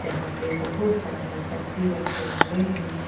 यहां पे बहुत सारे सब्जी रखे हुए हैं।